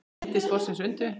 Yndi vorsins undu.